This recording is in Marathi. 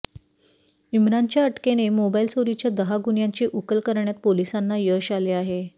इम्रानच्या अटकेने मोबाईल चोरीच्या दहा गुन्ह्यांची उकल करण्यात पोलिसांना यश आले आहे